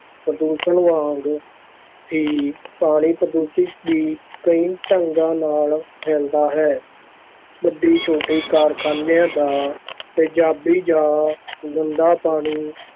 ਪ੍ਰਦੂਸ਼ਣ ਵਾਂਗ ਹੀ ਪਾਣੀ ਪ੍ਰਦੂਸ਼ਣ ਵੀ ਕਈ ਢੰਗਾਂ ਨਾਲ ਫੈਲਦਾ ਹੈ, ਵੱਡੇ-ਛੋਟੇ ਕਾਰਖ਼ਾਨਿਆਂ ਦਾ ਤੇਜ਼ਾਬੀ ਜਾਂ ਗੰਦਾ ਪਾਣੀ